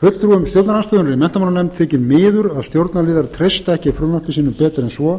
fulltrúum stjórnarandstöðunnar í menntamálanefnd þykir miður að stjórnarliðar treysta ekki frumvarpi sínu betur en svo